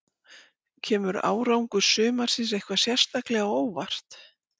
Kemur árangur sumarsins eitthvað sérstaklega á óvart?